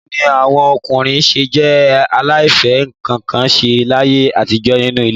Báwo ni àwọn ọkùnrin ṣé jẹ́ aláìfẹ́-nǹkan-ṣe láyé àtijọ́ nínú ilé?